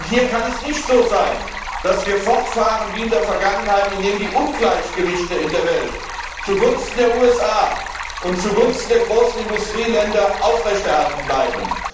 Hier kann es nicht so sein, dass wir fortfahren wie in der Vergangenheit und die Ungleichgewichte in der Welt zugunsten der USA und zugunsten der großen Industrieländer aufrechterhalten bleiben.